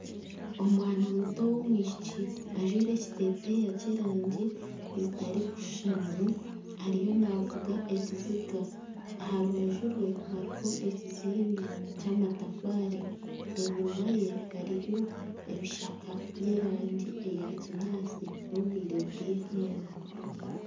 Omwana muto ow'omwishiki ajwaire ekiteteeya eky'erangi zitarikushushana ariyo navuga ekiziga aha rubaju rwe hariho ekizimbe ky'amatafaari enyuma ye hariyo ebishaka by'erangi eya kinyaatsi n'obwire obw'eihangwe